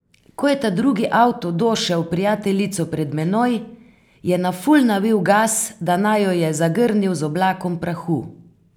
Ko je ta drugi avto došel prijateljico pred menoj, je na full navil gas, da naju je zagrnil z oblakom prahu.